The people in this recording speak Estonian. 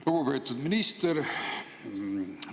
Lugupeetud minister!